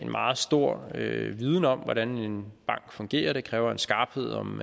meget stor viden om hvordan en bank fungerer det kræver en skarphed om